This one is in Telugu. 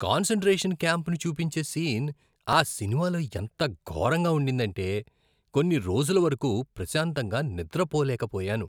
కాన్సంట్రేషన్ క్యాంప్ను చూపించే సీన్ ఆ సినిమాలో ఎంత ఘోరంగా ఉండిందంటే, కొన్ని రోజుల వరకు ప్రశాంతంగా నిద్రపోలేకపోయాను.